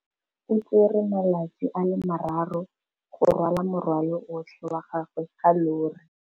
O tsere malatsi a le marraro go rwala morwalo otlhe wa gagwe ka llori.